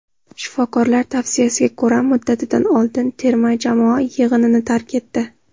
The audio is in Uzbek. shifokorlar tavsiyasiga ko‘ra muddatidan oldin terma jamoa yig‘inini tark etdi.